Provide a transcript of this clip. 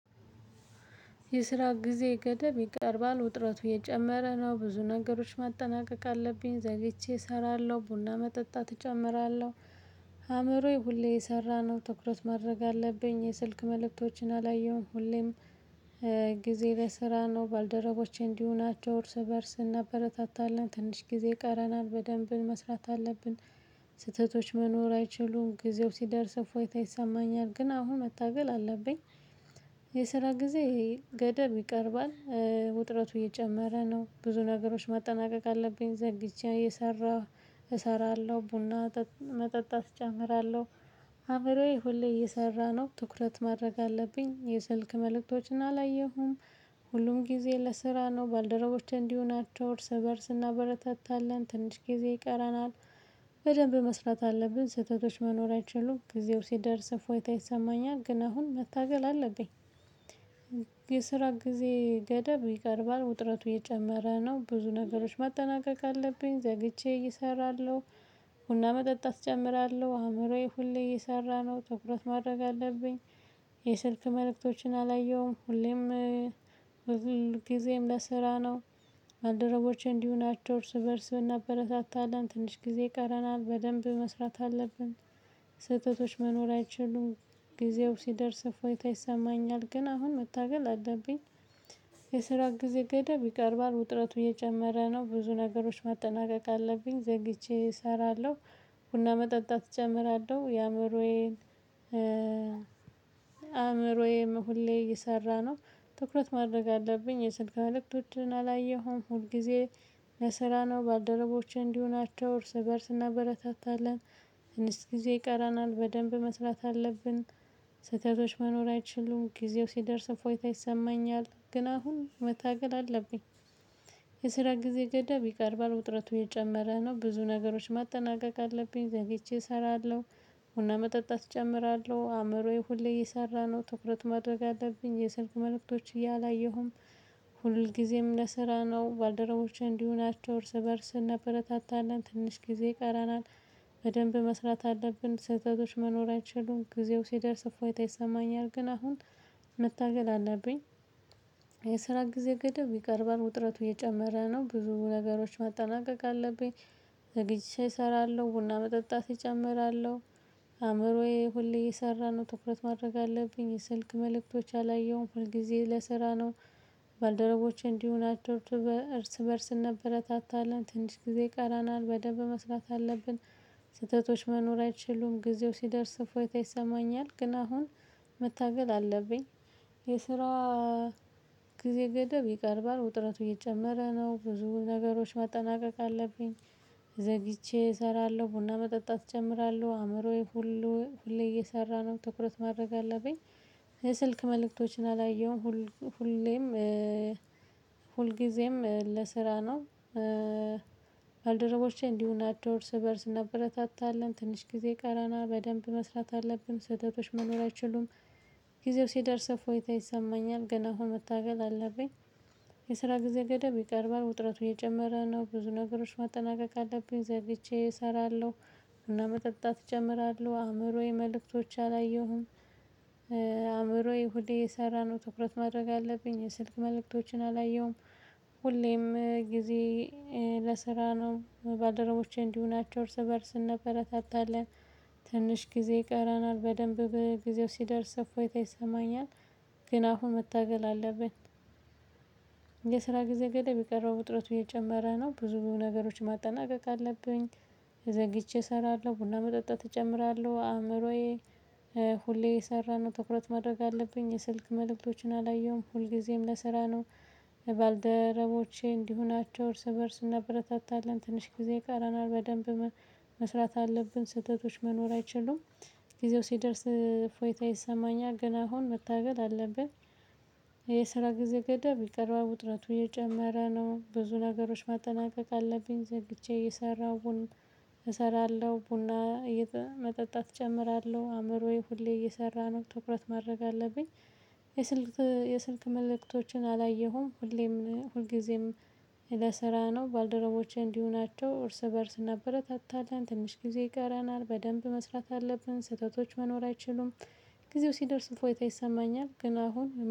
የስራ ጊዜ ገደብ ይቀርባል ውጥረቱ የጨመረ ነው ብዙ ነገሮች ማጠናቀቅ አለብኝ ዘግይቼ እሰራለሁ ቡና መጠጣት እጨምራለሁ አእምሮዬ ሁሌ የሰራነው ትኩረት ማድረግ አለብኝ የስልክ መልእክቶችን አላየሁም ሁሌም ጊዜ ለስራ ነው ባልደረቦቼ እንዲሁ ናቸው እርስ በእርስ እናበረታታለን ትንሽ ጊዜ ይቀረናል በደንብ መስራት አለብን። ስህተቶች መኖር አይችሉም ጊዜው ሲደርስ እፎይታ ይሰማኛል ግን አሁን መታገል አለብኝ። የስራ ጊዜ ገደብ ይቀርባል ውጥረቱ እየጨመረ ነው ብዙ ነገሮች ማጠናቀቅ አለብኝ ዘግይቼ እየሰራ እሰራለሁ ቡና መጠጣት እጨምራለሁ። አብሬ ሁሌ እየሰራ ነው ትኩረት ማድረግ አለብኝ የስልክ መልእክቶችን አላየሁም። ሁሉም ጊዜ ለስራ ነው ባልደረቦቼ እንዲሁ ናቸው እርስ በእርስ እናበረታታለን ትንሽ ጊዜ ይቀረናል። በደንብ መስራት አለብን ስህተቶች መኖር አይችሉም ጊዜው ሲደርስ እፎይታ ይሰማኛል ግን አሁን መታገል አለብኝ። የስራ ጊዜ ገደብ ይቀርባል ውጥረቱ እየጨመረ ነው ብዙ ነገሮች ማጠናቀቅ አለብኝ ዘግይቼ እሰራለሁ። ቡና መጠጣት እጨምራለሁ አእምሮዬ ሁሌ እየሰራ ነው ትኩረት ማድረግ አለብኝ። የስልክ መልእክቶችን አላየሁም ሁሌም ሁልጊዜም ለስራ ነው። ባልደረቦቼ እንዲሁ ናቸው እርስ በእርስ ብናበረታታለን ትንሽ ጊዜ ይቀረናል በደንብ መስራት አለብን። ስህተቶች መኖር አይችሉም ጊዜው ሲደርስ እፎይታ ይሰማኛል ግን አሁን መታገል አለብኝ። የስራ ጊዜ ገደብ ይቀርባል ውጥረቱ እየጨመረ ነው ብዙ ነገሮች ማጠናቀቅ አለብኝ ዘግይቼ እሰራለሁ። ቡና መጠጣት እጨምራለሁ የአእምሮዬን አእምሮዬ ሁሌ እየሰራ ነው። ትኩረት ማድረግ አለብኝ የስልክ መልእክቶችን አላየሁም ሁልጊዜ ለስራ ነው ባልደረቦቼ እንዲሁ ናቸው እርስ በእርስ እናበረታታለን። ትንሽ ጊዜ ይቀረናል በደንብ መስራት አለብን። ስህተቶች መኖር አይችሉም ጊዜው ሲደርስ እፎይታ ይሰማኛል ግን አሁን መታገል አለብኝ። የስራ ጊዜ ገዳብ ይቀርባል ውጥረቱ የጨመረ ነው ብዙ ነገሮች ማጠናቀቅ አለብኝ ዘግይቼ እሰራለሁ። ቡና መጠጣት እጨምራለሁ አእምሮዬ ሁሌ እየሰራ ነው ትኩረት ማድረግ አለብኝ የስልክ መልእክቶች አላየሁም። ሁልጊዜም ለስራ ነው ባልደረቦቼ እንዲህ ሆናቸው እርስ በእርስ እናበረታታለን ትንሽ ጊዜ ይቀረናል። በደንብ መስራት አለብን ስህተቶች መኖር አይችሉም ጊዜው ሲደርስ እፎይታ ይሰማኛል ግን አሁን መታገል አለብኝ። የስራ ጊዜ ገደብ ይቀርባል ውጥረቱ እየጨመረ ነው ብዙ ነገሮች ማጠናቀቅ አለብኝ። ዘግይቼ እሰራለሁ ቡና መጠጣት እጨምራለሁ። አእምሮዬ ሁሌ እየሰራ ነው ትኩረት ማድረግ አለብኝ የስልክ መልእክቶች አላየሁም ሁልጊዜ ለስራ ነው። ባልደረቦቼ እንዲሁ ናቸው እርስ በእርስ እንበረታታለን ትንሽ ጊዜ ይቀረናል በደንብ መስራት አለብን። ስህተቶች መኖር አይችሉም ጊዜው ሲደርስ እፎይታ ይሰማኛል ግን አሁን መታገል አለብኝ። የስራ ጊዜ ገደብ ይቀርባል ውጥረቱ እየጨመረ ነው ብዙ ነገሮች ማጠናቀቅ አለብኝ። ዘግይቼ እሰራለሁ ቡና መጠጣት እጨምራለሁ አእምሮዬ ሁሉ ሁሌ እየሰራ ነው ትኩረት ማድረግ አለብኝ። የስልክ መልእክቶችን አላየሁም ሁሌም ሁልጊዜም ለስራ ነው። ባልደረቦቼ እንዲሁ ናቸው እርስ በእርስ እንበረታታለን ትንሽ ጊዜ ይቀረናል በደንብ መስራት አለብን ስተቶች መኖር አይችሉም። ጊዜው ሲደርስ ህፎታ ይሰማኛል ገና አሁን መታገል አለብኝ። የስራ ጊዜ ገደብ ይቀርባል ውጥረቱ እየጨመረ ነው ብዙ ነገሮች ማጠናቀቅ አለብኝ ዘግይቼ እሰራለሁ። ቡና መጠጣት እጨምራለሁ አእምሮዬ መልእክቶች አላየሁም። አእምሮዬ ሁሌ የሰራነው ትኩረት ማድረግ አለብኝ ስልክ መልእክቶችን አላየሁም። ሁሌም ጊዜ ለስራ ነው ባልደረቦቼ እንዲሁ ሆናቸው እርስ በእርስ እንበረታታለን። ትንሽ ጊዜ ይቀረናል በደንብ በጊዜው ሲደርስ እፎይታ ይሰማኛል። ግን አሁን መታገል አለብን። የስራ ጊዜ ገደብ የቀረው ውጥረቱ እየጨመረ ነው ብዙ ነገሮች ማጠናቀቅ አለብኝ። ዘግይቼ እሰራለሁ ቡና መጠጣት እጨምራለሁ አእምሮዬ። ሁሌ እየሰራ ነው ትኩረት ማድረግ አለብኝ የስልክ መልእክቶችን አላየሁም ሁልጊዜም ለስራ ነው። ባልደረቦቼ እንዲሁ ናቸው እርስ በእርስ እናበረታታለን ትንሽ ጊዜ ይቀረናል በደንብ መስራት አለብን ስህተቶች መኖር አይችሉም። ጊዜው ሲደርስ ፎይታ ይሰማኛል ገና አሁን መታገል አለብን። የስራ ጊዜ ገደብ ይቅርባው ውጥረቱ የጨመረ ነው ብዙ ነገሮች ማጠናቀቅ አለብኝ ዘግቼ እየሰራሁን። እሰራለሁ ቡና መጠጣት እጨምራለሁ አእምሮዬ ሁሌ እየሰራ ነው ትኩረት ማድረግ አለብኝ። የስልክ የስልክ መልእክቶችን አላየሁም ሁሌም ሁልጊዜም። ለስራ ነው ባልደረቦቼ እንዲሁ ናቸው እርስ በእርስ እናበረታታለን ትንሽ ጊዜ ይቀራናል በደንብ መስራት አለብን ስህተቶች መኖር አይችሉም። ጊዜው ሲደርስ እፎይታ ይሰማኛል ግን አሁን